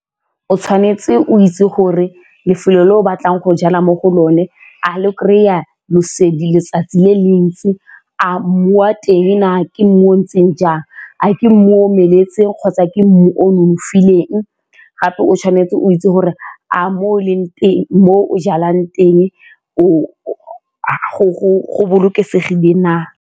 O tshwanetse o itse gore lefelo le o batlang go jala mo go lone a le kry-a letsatsi le le ntsi, a mmu wa teng a ke mmu o o ntseng jang, a ke o omeletseng kgotsa ke mmu o nonofileng gape o tshwanetse o itse gore a mmu o leng teng mo o jalang teng o go bolokesegile na?